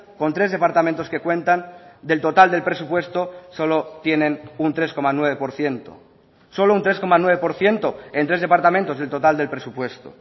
con tres departamentos que cuentan del total del presupuesto solo tienen un tres coma nueve por ciento solo un tres coma nueve por ciento en tres departamentos del total del presupuesto